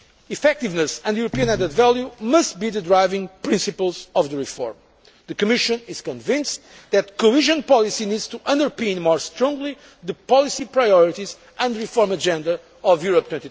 Effectiveness and European added value must be the driving principles of the reform. The Commission is convinced that cohesion policy needs to underpin more strongly the policy priorities and reform agenda